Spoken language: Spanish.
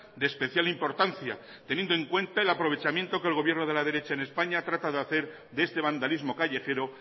de especial importancia teniendo en cuenta el aprovechamiento que el gobierno de la derecha en españa trata de hacer de este vandalismo callejero